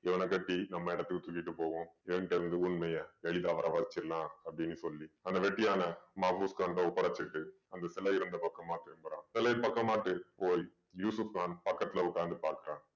இவன கட்டி நம்ம இடத்துக்கு தூக்கிட்டு போவோம். இவன் கிட்ட இருந்து உண்மைய எளிதா வர வச்சிடலாம் அப்படீன்னு சொல்லி அந்த வெட்டியான மாஃபூஸ் கான் கிட்ட ஒப்படைச்சுட்டு அந்த சிலை இருந்த பக்கமா திரும்பறான். அந்த சிலைய யூசுஃப் கான் பக்கத்துல உட்கார்ந்து பாக்கறான்.